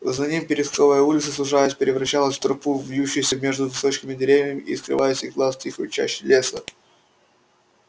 за ним пересковая улица сужаясь превращалась в тропу вьющуюся между высоченными деревьями и скрывалась из глаз в тихой чаще леса